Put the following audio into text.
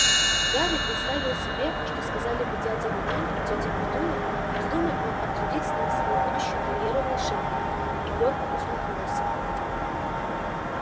гарри представил себе что сказали бы дядя вернон и тётя петунья вздумай он обсудить с ними свою будущую карьеру волшебника и горько усмехнулся